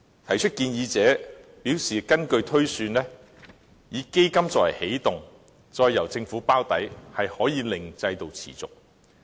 提出建議者表示，根據推算，以基金作為起動，再由政府"包底"，可以令制度持續。